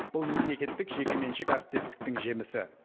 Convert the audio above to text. бұл мемлекеттік жекеменшік әріптестіктің жемісі